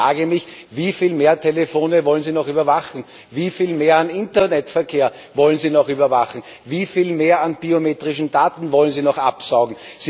Ich frage mich, wieviel mehr Telefone wollen Sie noch überwachen, wieviel mehr an Internetverkehr wollen Sie noch überwachen, wieviel mehr an biometrischen Daten wollen Sie noch absaugen?